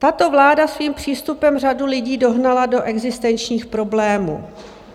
Tato vláda svým přístupem řadu lidí dohnala do existenčních problémů.